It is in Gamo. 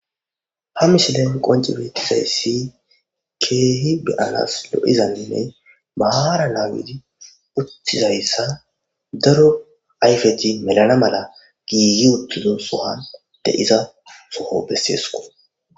ha misihilen qonci beettizayssi keehi beyanas lo7izanninne maahara naagidi uttizayssa daro ayfeti melana mala giigi uttizo sowan de7iza soho besseesko